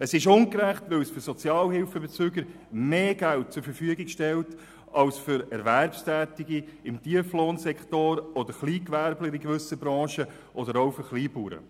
Es ist ungerecht, weil es für Sozialhilfebezüger mehr Geld zur Verfügung stellt als für Erwerbstätige im Tieflohnsektor oder für Kleingewerbe in gewissen Branchen oder auch für Kleinbauern.